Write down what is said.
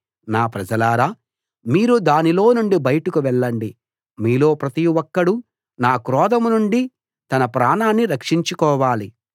నా ప్రజలారా మీరు దానిలో నుండి బయటకు వెళ్ళండి మీలో ప్రతి ఒక్కడూ నా క్రోధం నుండి తన ప్రాణాన్ని రక్షించుకోవాలి